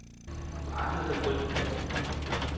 பாசத்தை கொஞ்~